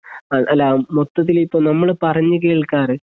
ആ അല്ലാ മൊത്തത്തില് ഇപ്പം നമ്മള് പറഞ്ഞുകേൾക്കാറ്